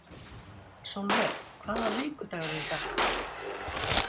Sólver, hvaða vikudagur er í dag?